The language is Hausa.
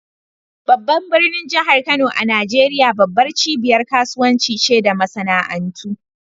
Babban birnin jihar Kano a Najeriya, babbar cibiyar kasuwanci ce da masana'antu.